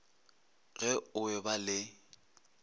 ge o e ba le